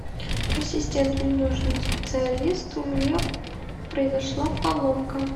ассистент мне нужен специалист у меня произошла поломка